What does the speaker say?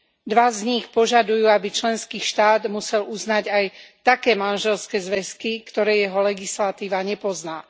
Dva z nich požadujú, aby členský štát musel uznať aj také manželské zväzky, ktoré jeho legislatíva nepozná.